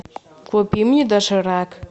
купи мне доширак